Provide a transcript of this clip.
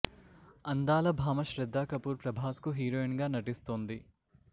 అందాల భామ శ్రద్దా కపూర్ ప్రభాస్ కు హీరోయిన్ గా నటిస్తోంది